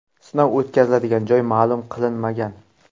Sinov o‘tkazilgan joy ma’lum qilinmagan.